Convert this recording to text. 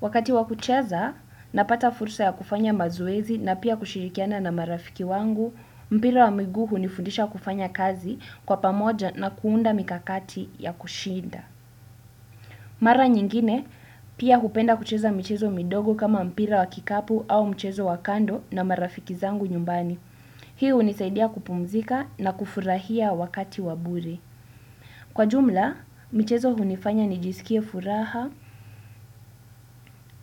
Wakati wa kucheza, napata fursa ya kufanya mazoezi na pia kushirikiana na marafiki wangu, mpira wa miguu hunifundisha kufanya kazi kwa pamoja na kuunda mikakati ya kushinda. Mara nyingine, pia hupenda kucheza mchezo midogo kama mpira wa kikapu au mchezo wa kando na marafiki zangu nyumbani. Hii hunisaidia kupumzika na kufurahia wakati wa bure. Kwa jumla, michezo hunifanya nijisikie furaha